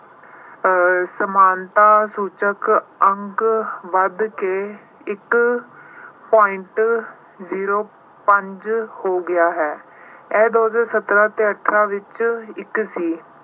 ਅਹ ਸਮਾਨਤਾ ਸੂਚਕ ਅੰਕ ਵਧ ਕੇ ਇੱਕ point zero ਪੰਜ ਹੋ ਗਿਆ ਹੈ। ਇਹ ਦੋ ਹਜ਼ਾਰ ਸਤਾਰਾਂ ਤੇ ਅਠਾਰਾਂ ਦੇ ਵਿੱਚ ਇੱਕ ਸੀ।